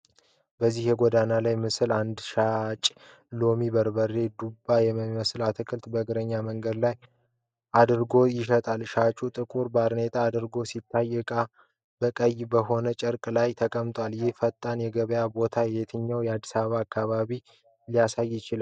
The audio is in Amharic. በዚህ የጎዳና ላይ ምስል፣ አንድ ሻጭ ሎሚ፣ በርበሬና ዱባ የመሰሉ አትክልቶችን በእግረኛ መንገድ ላይ አድርጎ ይሸጣል። ሻጩ ጥቁር ባርኔጣ አድርጎ ሲታይ፣ እቃዎቹ በቀይ በሆነ ጨርቅ ላይ ተቀምጠዋል። ይህ ፈጣን የገበያ ቦታ የትኛውን የአዲስ አበባ አካባቢ ሊያሳይ ይችላል?